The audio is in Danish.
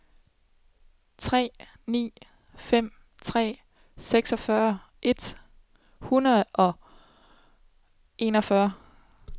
tre ni fem tre seksogfyrre et hundrede og enogfyrre